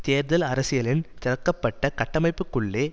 தேர்தல் அரசியலின் திரிக்கப்பட்ட கட்டமைப்புக்குள்ளே